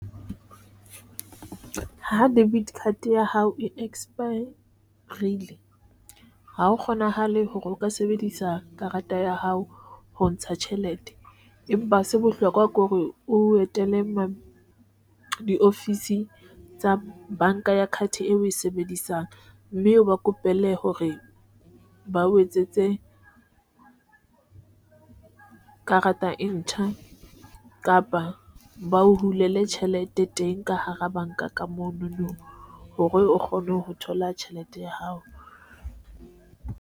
Ho debit card ya hao e expire, rile ha ho kgonahale hore o ka sebedisa karata ya hao ho ntsha tjhelete, empa ha se bohlokwa ke hore o etele mo diofisi tsa banka ya card eo o e sebedisang. Mme eo ba kopele hore bao etsetse ka a rata e ntjha kapa ba o hula tjhelete teng ka hara banka ka monono hore o kgone ho thola tjhelete ya hao.